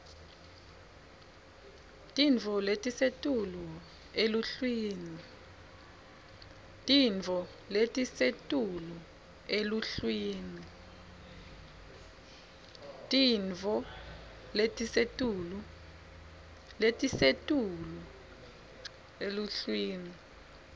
tintfo letisetulu eluhlwini